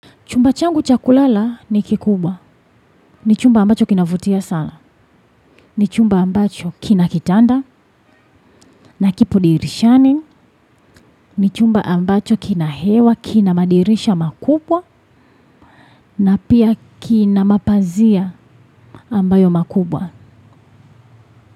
Chumba changu chakulala ni kikubwa, ni chumba ambacho kinavutia sana, ni chumba ambacho kinakitanda, na kipo dirishani, ni chumba ambacho kinahewa, kinamadirisha makubwa, na pia kinamapazia ambayo makubwa.